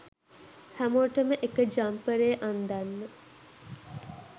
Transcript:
හැමෝටම එක ජම්පරේ අන්දන්න